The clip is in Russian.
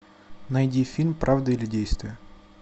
найди фильм правда или действие